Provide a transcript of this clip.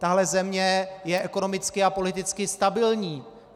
Tahle země je ekonomicky a politicky stabilní.